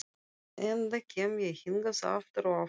enda kem ég hingað aftur og aftur.